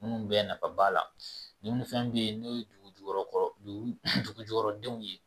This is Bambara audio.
Minnu bɛ nafa b'a la dumuni fɛn bɛ yen n'o ye dugujukɔrɔ dugujukɔrɔ denw ye